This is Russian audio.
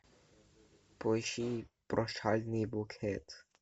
поищи прощальный букет